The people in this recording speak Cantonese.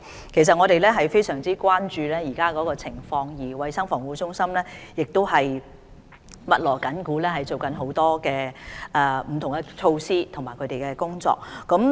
其實我們非常關注現時的情況，而衞生防護中心亦正在密鑼緊鼓推行不同的措施和工作。